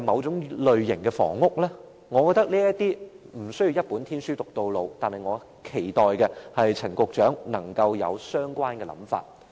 在這問題上，我覺得無須"一本天書讀到老"，而我更期待陳局長能夠廣納相關的構思。